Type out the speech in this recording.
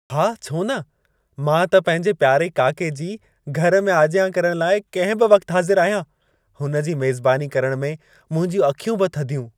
हा छो न! मां त पंहिंजे प्यारे काके जी घर में आजियां करण लाइ कंहिं बि वक़्तु हाज़िर आहियां। हुन जी मेज़बानी करण में मुंहिंजूं अखियूं बि थधियूं।